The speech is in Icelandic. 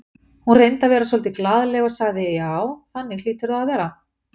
Hún reyndi að vera svolítið glaðleg og sagði: Já, þannig hlýtur það að vera